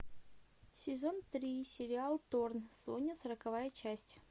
сезон три сериал торн соня сороковая часть